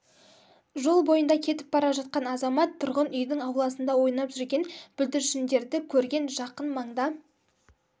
жол бойында кетіп бара жатқан азамат тұрғын үйдің ауласында ойнап жүрген бүлдіршіндерді көрген жақын маңда